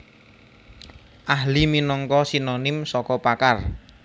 Ahli minangka sinonim saka pakar